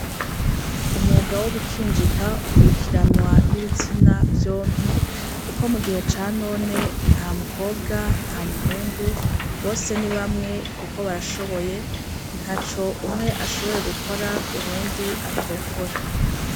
Umwuga wo gukinjika ukurikiranwa n' ibitsina vyompi kuko mugihe ça none nta mukobwa nta muhungu bose ni bamwe kuko barashoboye ntaco umwe adashoboye gukora uwundi atokora.